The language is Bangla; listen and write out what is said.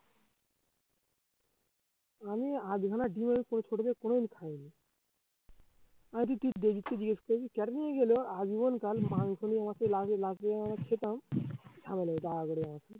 আমি কোনোদিন খাইনি আজীবন কাল মাংস নিয়ে আমাকে খেতাম